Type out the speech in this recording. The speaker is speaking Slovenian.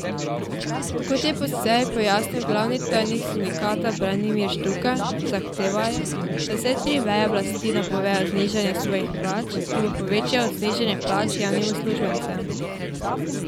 Kot je po seji pojasnil glavni tajnik sindikata Branimir Štrukelj, zahtevajo, da vse tri veje oblasti napovejo znižanje svojih plač, ki bo večje od znižanja plač javnim uslužbencem.